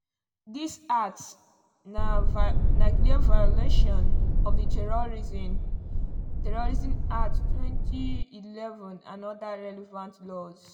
dis acts na clear violation of di terrorism (prevention) act 2011 and oda relevant laws.”